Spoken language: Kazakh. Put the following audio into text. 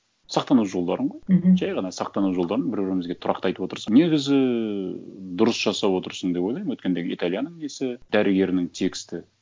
сақтану жолдарын ғой мхм жай ғана сақтану жолдарын бір бірімізге тұрақты айтып отырсақ негізі ііі дұрыс жасап отырсың деп ойлаймын өйткенде италияның несі дәрігерінің тексті